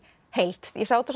heild ég sá þetta